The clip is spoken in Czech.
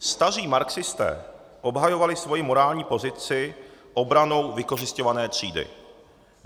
Staří marxisté obhajovali svoji morální pozici obranou vykořisťované třídy.